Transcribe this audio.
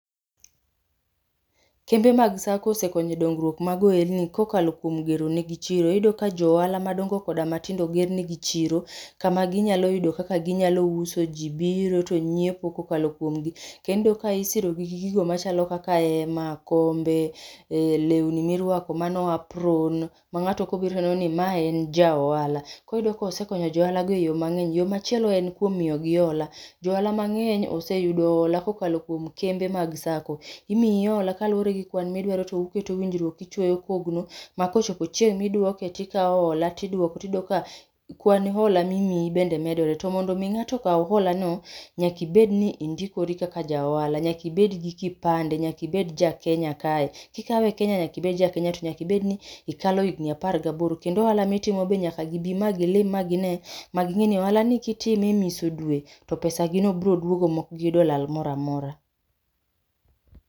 Kembe mag sacco osekonyo dongruok mar ohelni ka okalo kuom gero ne gi chiro iyudo ka jo ohala matindo oger ne gi chiro kama gi nya yudo kaka gi nyalo uso, ji biro to ng'iepo ka okalo kuomgi kendo ka isiro gi gigo machalo kaka ema ,kombe, lewni mi rwako amno apron, ma ngato ka obiro to oneno ni ma en ja ohala. Koro iyudo ka osekoyo jo ohala go mangeny . Yo machielo en kuom miyo gi ola , jo ohala mang'eny oseyudo ola ka okalo e kembe mag sacco, imiyi ola kaluore gi kwan mi idwaro to uketo winjruok ,ti ichwoyo kogno ma ko ocopo chieng mi idwoke, ti ikawo ola to idwoko ti iyudo ka kwan ola mi imiyi bende medre to mondo mi ng'ato kaw ola no nyaka ibed ni indokori kaka ja ohala, nyaka ibed ja kenya kae ki ikaewe kenya tio nyaka ibed jakenya to nyaka bed ni ikalo ja higni apar ga aboro kendo ohala mi itimo to be nyaka gi bi ma gi ne ni ohala ni ki itimo e miso dwe to pesa gi no biro dwogo ma ok gi yudo lal mori amora.